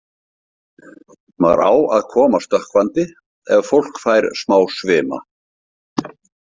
Maður á að koma stökkvandi ef fólk fær smá svima.